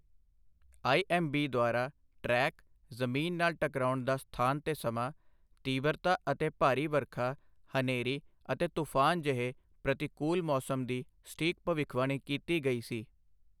IMB ਦੁਆਰਾ track, ਜ਼ਮੀਨ ਨਾਲ ਟਕਰਾਉਣ ਦਾ ਸਥਾਨ ਤੇ ਸਮਾਂ, ਤੀਬਰਤਾ ਅਤੇ ਭਾਰੀ ਵਰਖਾ, ਹਨੇਰੀ ਅਤੇ ਤੂਫਾਨ ਜਿਹੇ ਪ੍ਰਤੀਕੂਲ ਮੌਸਮ ਦੀ ਸਟੀਕ ਭਵਿੱਖਬਾਣੀ ਕੀਤੀ ਗਈ ਸੀ